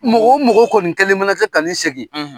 Mɔgɔ wo mɔgɔ kɔni kɛlen mana kɛ ka nin lasegin